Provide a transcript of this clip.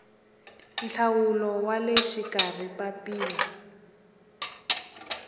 nhlawulo wa le xikarhi papila